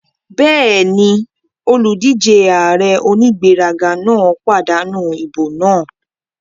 Bẹ́ẹ̀ni, olùdíjé ààrẹ onígbéraga náà pàdánù ìbò náà